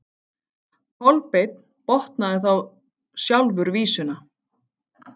Kolbeinn botnaði þá sjálfur vísuna: